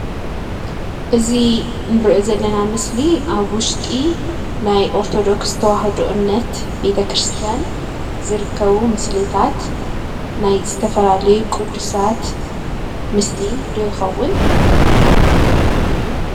እዚ እንሪኦ ዘለና ምስሊ አብ ውሽጢ ናይ ኦርቶዶክስ ተዋህዶ እምነት ቤተ ክርስቲያን ዝርከቡ ምስልታት ናይ ዝተፈላለዩ ቅዱሳት ምስሊ ዶ ይኸውን?